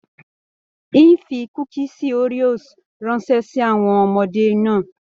N o fí kúkísí Oreos ránṣẹ sí àwọn ọmọdé náà.